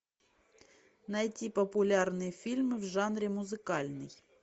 найти популярные фильмы в жанре музыкальный